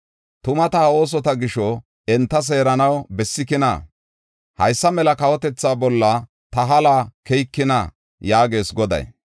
Tuma ta ha oosota gisho, enta seeranaw bessikina? Haysa mela kawotethaa bolla ta haluwa keyikina?” yaagees Goday.